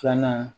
Filanan